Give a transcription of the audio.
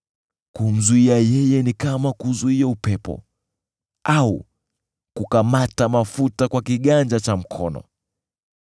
Kumzuia yeye ni kama kuuzuia upepo au kukamata mafuta kwa kiganja cha mkono.